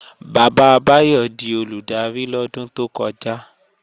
Bàbá Báyọ̀ di Olùdarí lọ́dún tó kọjá